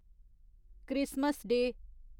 Christmas day